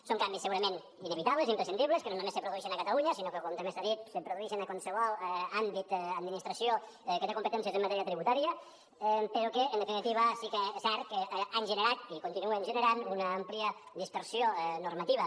són canvis segurament inevitables imprescindibles que no només se produeixen a catalunya sinó que com també s’ha dit se produeixen a qualsevol àmbit administració que té competències en matèria tributària però que en definitiva sí que és cert que han generat i continuen generant una àmplia dispersió normativa